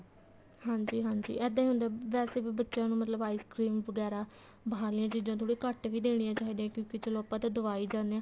ਹਾਂਜੀ ਹਾਂਜੀ ਇੱਦਾਂ ਹੀ ਹੁੰਦਾ ਵੈਸੇ ਵੀ ਬੱਚਿਆਂ ਨੂੰ ਮਤਲਬ ice cream ਵਗੈਰਾ ਬਾਹਰਲੀਆਂ ਚੀਜ਼ਾਂ ਥੋੜੀਆਂ ਘੱਟ ਹੀ ਦੇਣੀਆਂ ਚਾਹੀਦੀਆਂ ਨੇ ਕਿਉਂਕਿ ਚਲੋ ਆਪਾਂ ਤਾਂ ਦਵਾਈ ਜਾਣੇ ਹਾਂ